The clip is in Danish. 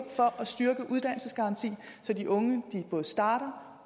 for at styrke uddannelsesgarantien så de unge både starter